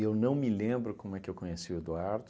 não me lembro como é que eu conheci o Eduardo.